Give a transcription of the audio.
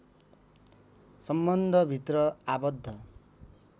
सम्बन्धभित्र आवद्ध